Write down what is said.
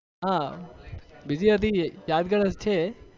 હા બીજી બધી યાદગાર જ છે.